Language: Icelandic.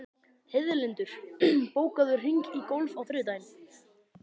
Heiðlindur, bókaðu hring í golf á þriðjudaginn.